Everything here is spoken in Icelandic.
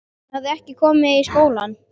Hann hafði ekki komið í skólann.